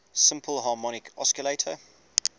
simple harmonic oscillator